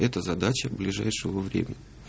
это задача ближайшего времени